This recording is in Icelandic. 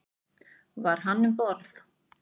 Var hann um borð?